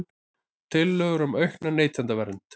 Tillögur um aukna neytendavernd